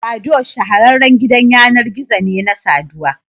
Badoo shahararren gidan yanar gizo ne na saduwa